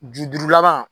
Bi duuru laban